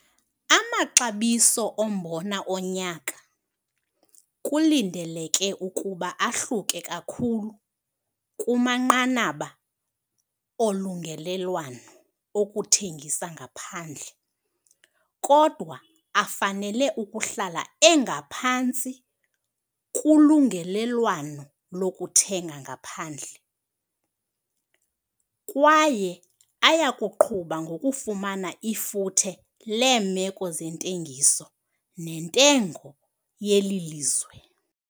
Amaxabiso ombona onyaka kulindeleke ukuba ahluke kakhulu kumanqanaba olungelelwano okuthengisa ngaphandle kodwa afanele ukuhlala engaphantsi kulungelelwano lokuthenga ngaphandle kwaye aya kuqhuba ngokufumana ifuthe leemeko zentengiso nentengo yeli lizwe.